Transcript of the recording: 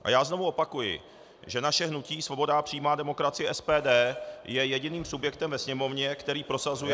A já znovu opakuji, že naše Hnutí svoboda a přímá demokracie - SPD je jediným subjektem ve Sněmovně, který prosazuje -